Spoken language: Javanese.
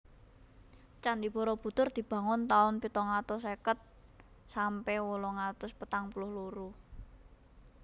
Candhi Barabudhur dibangun taun pitung atus seket sampe wolung atus patang puluh loro